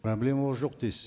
проблемалар жоқ дейсіз